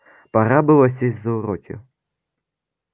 пора было сесть за уроки